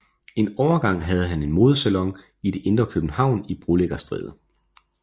En overgang havde han en modesalon i det indre København i Brolæggerstræde